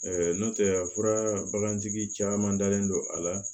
nɔntɛ a fura bagantigi caman dalen don a la